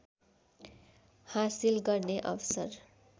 हासिल गर्ने अवसर